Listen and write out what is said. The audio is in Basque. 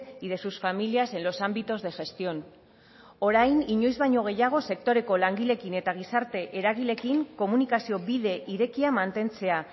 y de sus familias en los ámbitos de gestión orain inoiz baino gehiago sektoreko langileekin eta gizarte eragileekin komunikazio bide irekia mantentzea